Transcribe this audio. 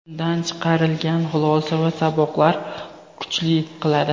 undan chiqarilgan xulosa va saboqlar kuchli qiladi.